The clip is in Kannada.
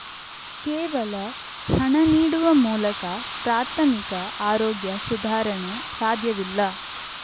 ಕೇವಲ ಹಣ ನೀಡುವ ಮೂಲಕ ಪ್ರಾಥಮಿಕ ಆರೋಗ್ಯ ಸುಧಾರಣೆ ಸಾಧ್ಯವಿಲ್ಲ